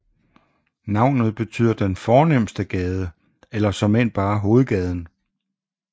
Navnet betyder den fornemste gade eller såmænd bare hovedgaden